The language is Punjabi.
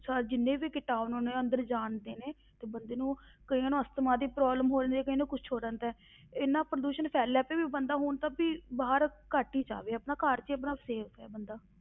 ਸ~ ਜਿੰਨੇ ਵੀ ਕੀਟਾਣੂ ਹੁਣ ਇਹ ਅੰਦਰ ਜਾਂਦੇ ਨੇ, ਤੇ ਬੰਦੇ ਨੂੰ ਕਈਆਂ ਨੂੰ ਅਸਥਮਾ ਦੀ problem ਹੋ ਜਾਂਦੀ ਹੈ, ਕਈਆਂ ਨੂੰ ਕੁਛ ਹੋ ਜਾਂਦਾ ਹੈ ਇੰਨਾ ਪ੍ਰਦੂਸ਼ਣ ਫੈਲਿਆ ਪਿਆ ਵੀ ਬੰਦਾ ਹੁਣ ਤਾਂ ਵੀ ਬਾਹਰ ਘੱਟ ਹੀ ਜਾਵੇ ਆਪਣਾ ਘਰ ਵਿੱਚ ਹੀ ਆਪਣਾ safe ਹੈ ਬੰਦਾ।